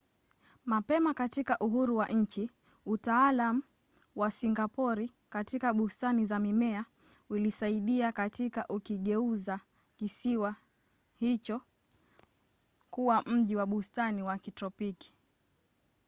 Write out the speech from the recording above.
mapema katika uhuru wa nchi utaalamu wa singapori katika bustani za mimea uliisaidia katika kukigeuza kisiwa hicho kuwa mji wa bustani wa kitropiki